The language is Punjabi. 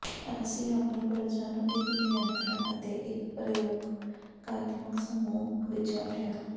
ਅਸੀਂ ਆਪਣੀ ਪਰਜਾ ਨੂੰ ਇੱਕ ਨਿਯੰਤ੍ਰਣ ਅਤੇ ਇੱਕ ਪ੍ਰਯੋਗਾਤਮਕ ਸਮੂਹ ਵਿੱਚ ਵੰਡਿਆ